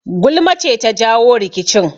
Gulma ce ta jawo rikicin